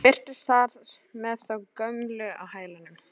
Birtist þar með þá gömlu á hælunum.